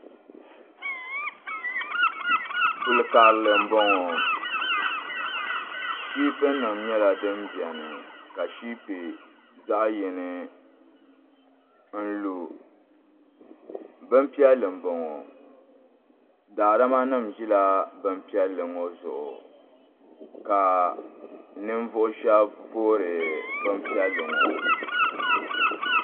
kul' karili m-bɔŋɔ shipu nima nyɛla din beni ka shipi zaɣ' yini n-lu bin' piɛlli m-bɔŋɔ daadama nima ʒila bin' piɛlli ŋɔ zuɣu ka ninvuɣ' shɛba voori bin' piɛlli ŋɔ.